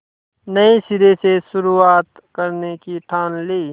नए सिरे से शुरुआत करने की ठान ली